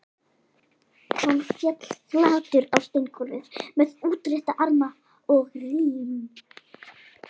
Hann féll flatur á steingólfið með útrétta arma og rím